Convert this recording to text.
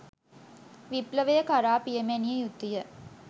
විප්ලවය කරා පියමැනිය යුතුය